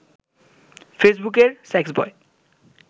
ফেসবুকের সেক্সবয়